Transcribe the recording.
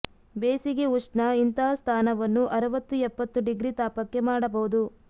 ಬೇಸಿಗೆ ಉಷ್ಣ ಇಂತಹ ಸ್ಥಾನವನ್ನು ಅರವತ್ತು ಎಪ್ಪತ್ತು ಡಿಗ್ರಿ ತಾಪಕ್ಕೆ ಮಾಡಬಹುದು